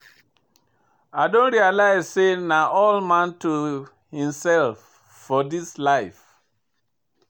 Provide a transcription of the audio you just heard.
I don realize sey na all man to imsef for dis life.